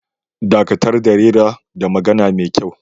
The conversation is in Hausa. Dakatar da rera da magana da kyau